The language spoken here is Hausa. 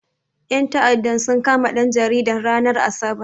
Ƴan ta'addan sun kama ɗan jaridan, ranar asabar.